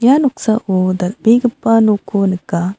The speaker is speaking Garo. ia noksao dal·begipa nokko nika.